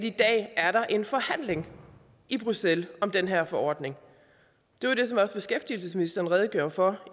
i dag er en forhandling i bruxelles om den her forordning det var det som også beskæftigelsesministeren redegjorde for